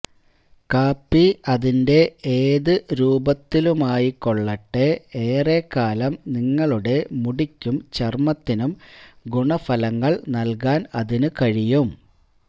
കാപ്പി അതിന്റെ ഏത് രൂപത്തിലുമായിക്കൊള്ളട്ടെ ഏറെക്കാലം നിങ്ങളുടെ മുടിക്കും ചര്മ്മത്തിനും ഗുണഫലങ്ങള് നല്കുവാന് അതിനു കഴിയും